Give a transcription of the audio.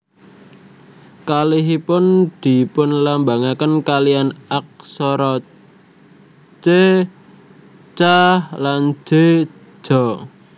Kalihipun dipunlambangaken kaliyan aksara C Ca lan J Ja